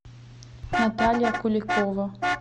наталья куликова